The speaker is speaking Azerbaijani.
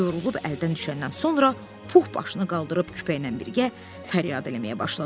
Yorulub əldən düşəndən sonra Puh başını qaldırıb küpəylə birgə fəryad eləməyə başladı.